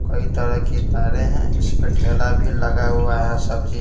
कई तरह की तारें हैं इसमें ठेला भी लगा हुआ है सब्ज़ी --